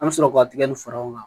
An bɛ sɔrɔ k'o tigɛ ni faraw kan